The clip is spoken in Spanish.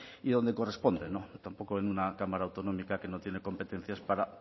y donde corresponden tampoco en una cámara autonómica que no tiene competencias para